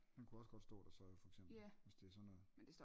Den kunne også godt stå der så for eksempel hvis det er sådan noget